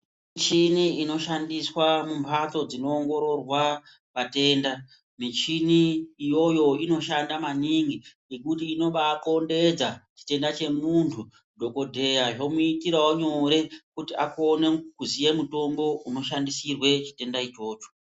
Mishini inoshandiswa munhatso dzinoongororwa vatenda michini iyoyo inoshanda maningi. Ngekuti inobakombedza chitenda chemuntu dhogodhleya zvomuitiravo nyore kuti akone kuziye mutombo unoshandisirwe chitenda ichocho.